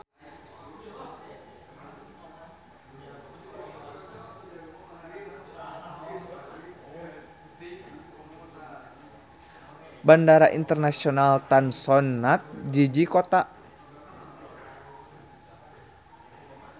Bandara Internasional Tan Son Nhat jiji kota.